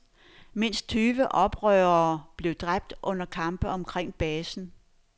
Mindst tyve oprørere blev dræbt under kampe omkring basen.